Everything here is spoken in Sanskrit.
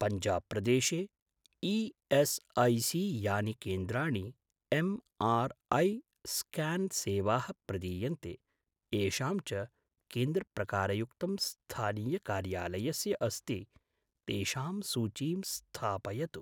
पञ्जाब् प्रदेशे ई.एस्.ऐ.सी.यानि केन्द्राणि एम्.आर्.ऐ.स्क्यान् सेवाः प्रदीयन्ते, येषां च केन्द्रप्रकारयुक्तं स्थानीयकार्यालयस्य अस्ति, तेषां सूचीं स्थापयतु।